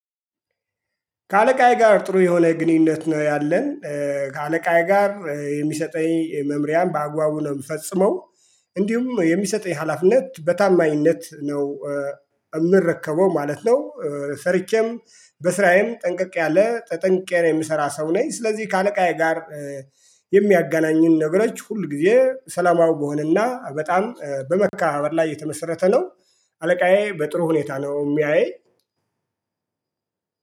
ከአለቃዬ ጋር ጥሩ የሆነ ግንኙነት ነው ያለን ከአለቃዬ ጋር የሚሰጠኝ መምሪያን በአግባቡ ነው የምፈጽመው። እንዲሁም የሚሰጠኝ ሀላፊነት በታማኝነት ነው የምረከበው ማለት ነው። ሰርቼም በስራዬም ጠንቀቅ ያለ ተጠንቅቄ የምሰራ ሰው ነኝ። ስለዚህ ከአለቃዬ ጋር የሚያገናኙን ነገሮች ሁል ጊዜ ሰላማዊ በሆነና በጣም በመከባበር ላይ የተመሰረተ ነው። አለቃዬ በጥሩ ሁኔታ ነው የሚያየኝ።